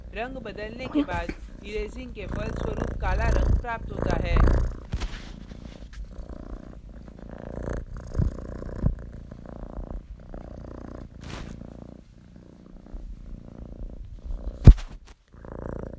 रंग बदलने के बाद erasing के फलस्वरूप काला रंग प्राप्त होता है